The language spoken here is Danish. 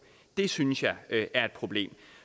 det synes jeg er et problem